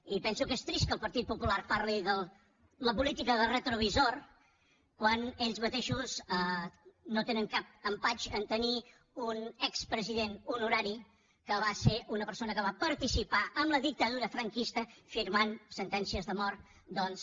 i penso que és trist que el partit popular parli de la política de retrovisor quan ells mateixos no tenen cap empatx a tenir un expresident honorari que va ser una persona que va participar en la dictadura franquista firmant sentències de mort doncs